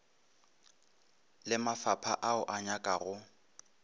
le mafapha ao a nyakago